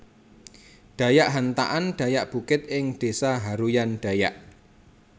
Dayak Hantakan Dayak Bukit ing desa Haruyan Dayak